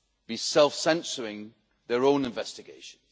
be self censoring their own investigation.